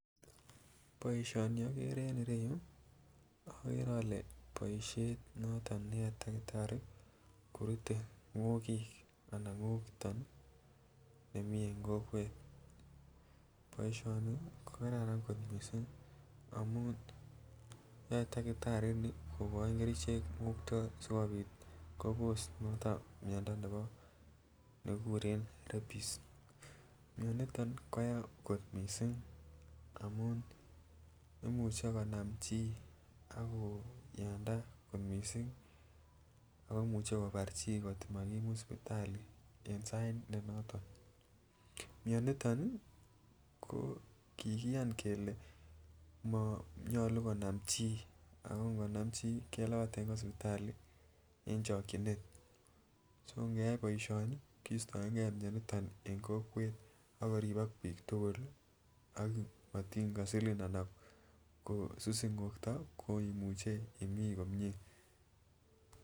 Boishoni okere en ireyuu okere ole boishen noton neyoe takitari korute ngokik anan ngokiton nii nemii en kokwet boishoni ko kararan kot missing amun yoe takitari Nii kokoi kerichek ngokto sikopit Kobos niton miondo nebo nekikuren reppis mioniton koyaa kot missing amun imuche konam chii akonamda kot missing ako imuche kobar chii kotko makimut sipitali en sait ne noton. Mioniton nii ko kikiyan kele konyolu konam chii ako inkoma chii kelapaten kwo sipitali en chokinet, ngeyai boishoni en kistoengee mioniton en kokwet akoripok bik tukuk lii ak mitin kosilin ana kosusin ngokto ko imuche imii komie.